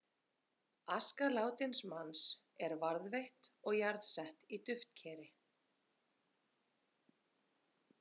Aska látins manns er varðveitt og jarðsett í duftkeri.